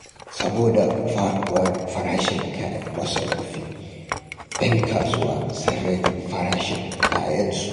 Saboda faduwar farashin kayan masarufi, 'yan kasuwa sun rage farashin kayansu.